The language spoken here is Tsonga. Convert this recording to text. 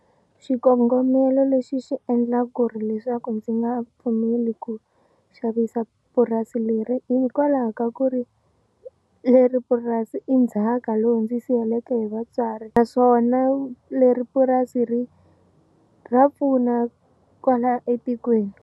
Xikongomelo lexi xi endla ku ri leswaku ndzi nga pfumeli ku xavisa purasi leri hikwalaho ka ku ri leri purasi i ndzhaka lowu ndzi siyeleke hi vatswari naswona leri purasi ri ra pfuna kwala etikweni.